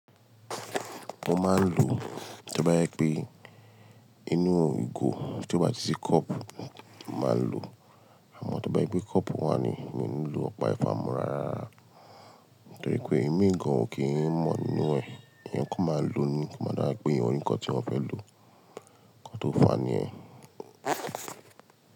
Mọ́n máa ń lò ó tí o bá jepé inú ìgò, tí ó bá tí sí kọ́ọ̀pù máa ń lò ó. Àmọ́ tí o jepe bá jepé kọ́ọ̀pù wá ni, mi ò ní lò ọ̀pá ifá mọ́ rárá. Nitoripẹ́ ìmíì gan-an ò kí ń mọ̀ nínú ẹ̀. Ìyẹn kò máa lo ní kí ó máa dárí pé ìyẹn ni nǹkan tí wọ́n fẹ́ lò ó. Nǹkan tó fa ni ẹ́.